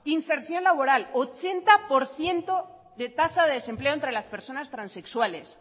inserción laboral ochenta por ciento de tasa de desempleo entre las personas transexuales